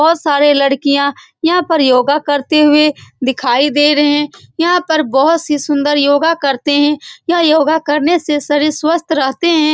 बहुत सारी लड़कियाँ यहाँ पर योगा करते हुए दिखाई दे रहे हैं यहाँ पर बहुत सी सुन्दर योगा करते हैं यह योगा करने से शरीर स्वस्थ रहते हैं।